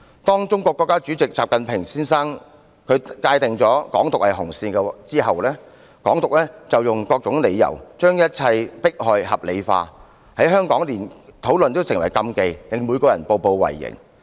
當中國國家主席習近平界定"港獨"是紅線後，港府便用各種理由，把一切迫害合理化，在香港連討論也成禁忌，令每個人步步為營。